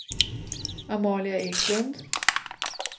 Amalia Eklund